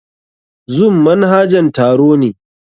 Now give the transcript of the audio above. Zoom manhajan taro ne.